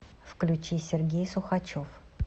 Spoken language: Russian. включи сергей сухачев